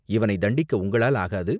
இவனைத் தண்டிக்க உங்களால் ஆகாது.